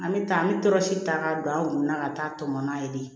An bɛ taa an bɛ tɔrɔsi ta ka don an kunna ka taa tɔmɔ n'a ye de